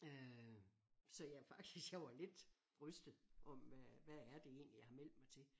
Øh så jeg var faktisk jeg var lidt rystet om hvad hvad er det egentlig jeg har meldt mig til?